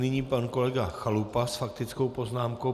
Nyní pan kolega Chalupa s faktickou poznámkou.